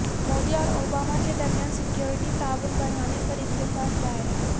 مودی اور اوباما کے درمیان سیکیورٹی تعاون بڑھانے پر اتفاق رائے